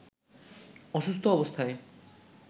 অসুস্থ অবস্থায়